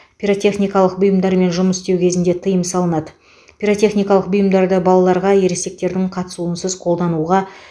пиротехникалық бұйымдармен жұмыс істеу кезінде тыйым салынады пиротехникалық бұйымдарды балаларға ересектердің қатысуынсыз қолдануға